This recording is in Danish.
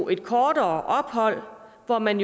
et kortere ophold hvor man